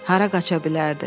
Hara qaça bilərdi?